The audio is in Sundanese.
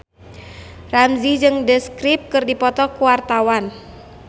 Ramzy jeung The Script keur dipoto ku wartawan